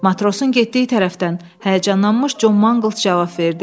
Matrosun getdiyi tərəfdən, həyəcanlanmış Con Mangls cavab verdi.